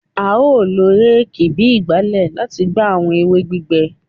A o lo réèkì bi ìgbálẹ lati gba awọn ewe gbigbẹ